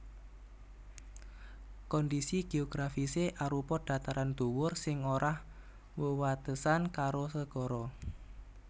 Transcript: Kondhisi geografisé arupa dataran dhuwur sing ora wewatesan karo segara